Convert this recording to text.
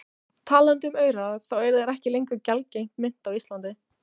Talandi um aura, þá eru þeir ekki lengur gjaldgeng mynt á Íslandi.